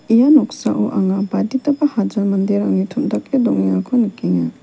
ia noksao anga baditaba hajal manderangni tom·dake dongengako nikenga.